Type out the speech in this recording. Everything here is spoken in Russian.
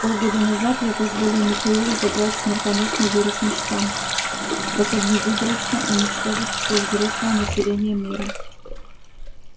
полгода назад я позволил михаилу забрать смертоносный вирусный штамм способный выборочно уничтожить всё взрослое население мира